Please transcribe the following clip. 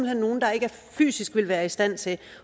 hen nogle der ikke fysisk vil være i stand til